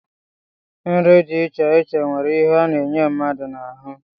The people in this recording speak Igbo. Nri dị iche iche nwere ihe ha na-enye mmadụ n'ahụ